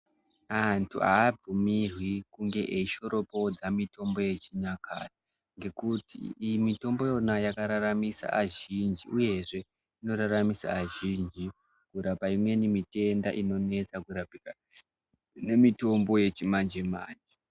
Antu abvumirwi kunge eishoropodza mishonga yechinyakare ngekuti iyi mitombo yona yakanakira azhinjiniyezve inoraramura azhinji kurapa imweni mitenda inonetsa kurapika kune mitenda imweni.